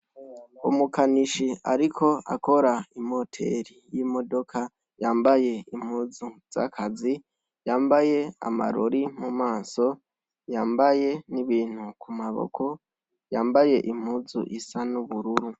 umukanishi ariko akora imoteri y'imodoka yambaye impuzu z'akazi yambaye amarori mu maso yambaye n'ibintu ku maboko yambaye impuzu isa n'ubururu